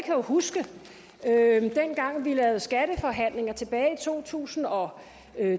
jo huske dengang vi lavede skatteforhandlinger tilbage i to tusind og